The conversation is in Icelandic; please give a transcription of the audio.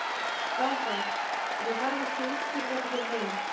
Þá það, en ég þarf ekki að útskýra þetta fyrir neinum.